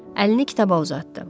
Əlini kitaba uzatdı.